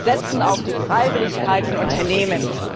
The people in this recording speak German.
Wir setzen auf die Freiwilligkeit von Unternehmen!